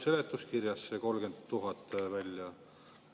Seletuskirjast tuleb see 30 000 välja.